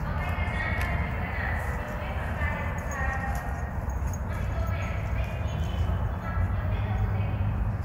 तपाईँका नाम र ठेगानाहरू एउटै प्रकारले उच्चारण गरिन्छ, अनि तपाईँहरू दुवै केही हदसम्म एउटै जस्तो देखिनुहुन्छ।